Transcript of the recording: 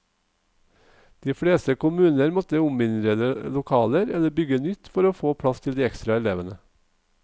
De fleste kommuner måtte ominnrede lokaler eller bygge nytt for å få plass til de ekstra elevene.